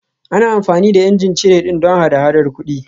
Ana amfani da ijin cire ɗin don hada-hadar kuɗi